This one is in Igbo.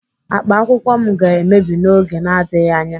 Akpa akwụkwọ m ga-emebi n'oge na-adịghị anya.